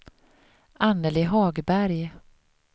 Annelie Hagberg